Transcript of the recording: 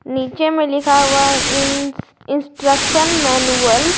नीचे में लिखा हुआ है इंस इंस्ट्रक्शन मैनुअल ।